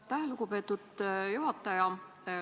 Aitäh, lugupeetud juhataja!